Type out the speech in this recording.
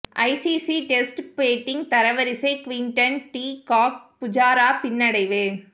ICC test batting தரவரிசை Quinton de Kock Pujara பின்னடைவு